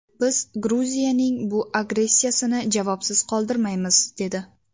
Biz Gruziyaning bu agressiyasini javobsiz qoldirmaymiz” dedi.